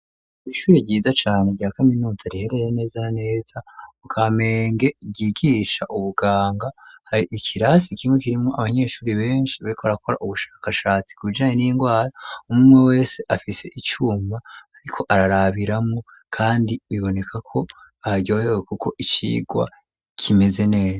Ishuri ryiza cane rya kaminuza riherere neza neza mu Kamenge ryigisha ubuganga hari ikirasi kimwe kirimwo abanyeshuri beshi bariko barakora ubushakashatsi ku bijanye n'ingwara umwumwe wese afise icuma ariko ararabiramwo kandi biboneka ko baryohewe kuko icirwa kimeze neza.